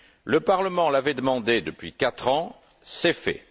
Le Parlement l'avait demandé depuis quatre ans, c'est fait.